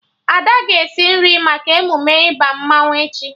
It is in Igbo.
Ada ga-esi nri maka emume ịba mmanwụ echi